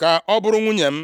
ka ọ bụrụ nwunye m.”